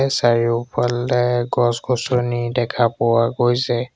চাৰিওফালে গছ-গছনি দেখা পোৱা গৈছে।